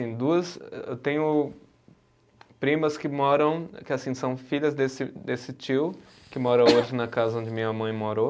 Duas, eu tenho primas que moram, que assim são filhas desse desse tio, que mora hoje na casa onde minha mãe morou.